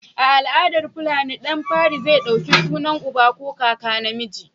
A al'adar fulani, ɗan fari zai ɗauki sunan uba ko kaka namiji.